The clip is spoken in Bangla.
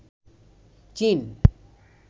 চীন